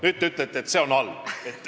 Nüüd ütlete aga teie, et see on halb.